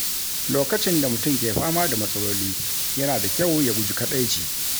Lokacin da mutum ke fama da matsaloli, yana da kyau ya guji kadaici.